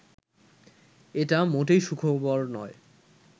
এটা মোটেই সুখবর নয়